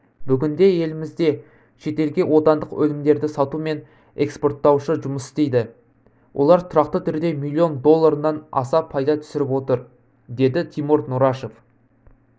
бүгінде елімізде шетелге отандық өнімдерді сатумен экспорттаушы жұмыс істейді олар тұрақты түрде миллион долларыннан аса пайда түсіріп отыр деді тимур нұрашев